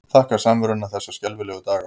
Þakka samveruna þessa skelfilegu daga.